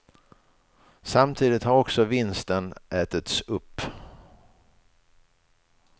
Samtidigt har också vinsten ätits upp.